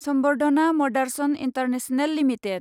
Samvardhana Motherson international limited